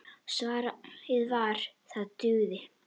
Svarið var: það dugði.